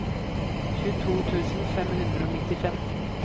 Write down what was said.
tjueto tusen fem hundre og nittifem